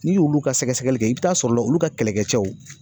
N'i y'olu ka sɛgɛsɛgɛli kɛ i bi taa sɔrɔ la, olu ka kɛlɛkɛ cɛw